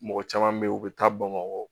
Mɔgɔ caman be yen u be taa bamakɔ